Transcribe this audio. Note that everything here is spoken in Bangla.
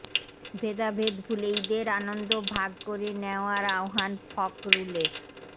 ভেদাভেদ ভুলে ঈদের আনন্দ ভাগ করে নেওয়ার আহ্বান ফখরুলের